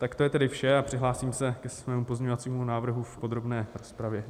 Tak to je tedy vše a přihlásím se ke svému pozměňovacímu návrhu v podrobné rozpravě.